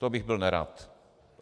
To bych byl nerad.